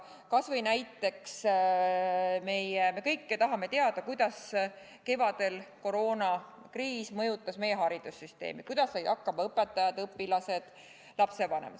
Kas või näiteks see, et me kõik tahame teada, kuidas mõjutas kevadine koroonakriis meie haridussüsteemi, kuidas said hakkama õpetajad, õpilased ja lapsevanemad.